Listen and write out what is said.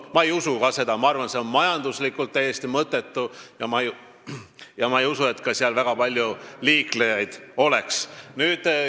Ma ka ei usu seda, ma arvan, et see on majanduslikult täiesti mõttetu, ja ma ei usu, et seal väga palju liiklejaid oleks.